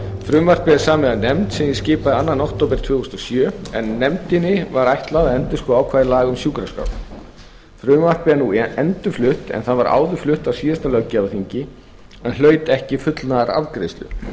frumvarpið er samið af nefnd sem ég skipaði annað október tvö þúsund og sjö en nefndinni var ætlað að endurskoða ákvæði laga um sjúkraskrár frumvarpið er nú endurflutt en það var áður flutt á síðasta löggjafarþingi en hlaut ekki fullnaðarafgreiðslu